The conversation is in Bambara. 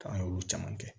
K'an y'olu caman kɛ